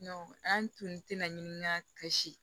an tun tɛ na ɲini na ka si